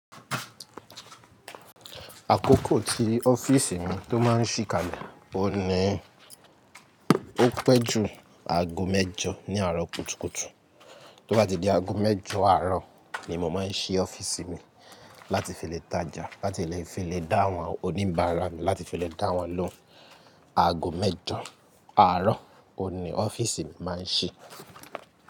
Àkókò tí ọ́fíìsì mi tó máa ń ṣí kalẹ̀ ọ̀ ní, ó pẹ́ ju aago mẹ́jọ ní àárọ̀ kùtùkùtù. Tó bá ti di aago mẹ́jọ àárọ̀ ni mo máa ń ṣí ọ́fíìsì mi láti fi lè tajà, láti fi lè dáhùn oníbàárà mi, láti fi lè dáhùn lóun. Aago mẹ́jọ àárọ̀ ọ̀ ní ọ́fíìsì mi máa ń ṣí.